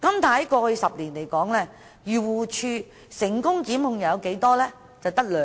但過去10年，漁農自然護理署成功檢控的有多少宗個案？